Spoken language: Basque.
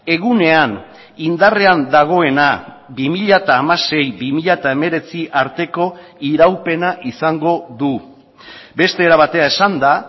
egunean indarrean dagoena bi mila hamasei bi mila hemeretzi arteko iraupena izango du beste era batera esanda